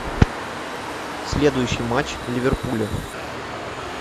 следующий матч ливерпуля